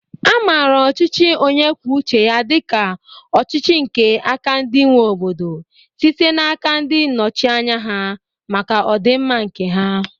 A mara ọchịchị onyekwucheya dịka ọchịchị nke aka ndị nwe obodo, site n'aka ndị nnọchianya ha, maka ọdịmma nke ha